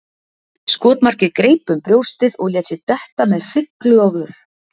Skotmarkið greip um brjóstið og lét sig detta með hryglu á vör.